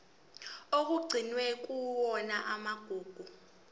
okugcinwe kuyona igugu